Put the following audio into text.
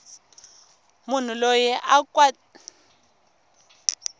munhu loyi a kweletaku a